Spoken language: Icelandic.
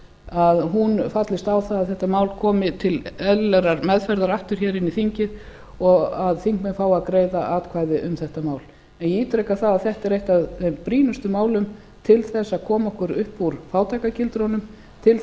að hún fallist á það að þetta mál komi til eðlilegrar meðferðar aftur hér inn í þingið og að þingmenn fái að greiða atkvæði um þetta mál en ég ítreka það að þetta er eitt af þeim brýnustu málum til þess að koma okkur upp úr fátæktargildrunum til